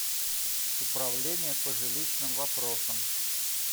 управление по жилищным вопросам